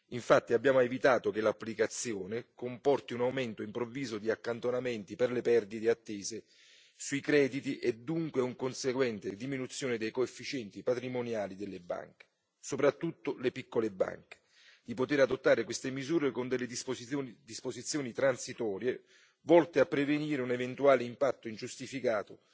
Infatti, abbiamo evitato che l'applicazione comporti un aumento improvviso di accantonamenti per le perdite attese sui crediti e dunque una conseguente diminuzione dei coefficienti patrimoniali delle banche, soprattutto le piccole banche, e previsto di poter adottare queste misure con delle disposizioni transitorie volte a prevenire un eventuale impatto ingiustificato